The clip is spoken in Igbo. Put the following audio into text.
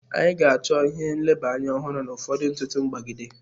Anyị ga-achọ ihe nleba anya ọhụrụ na ụfọdụ ntụtụ mkpagide.